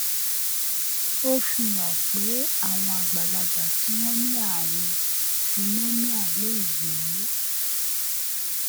ó fi hàn pé àwọn àgbàlagbà tí wọn ní àrùn phenomia lè yè é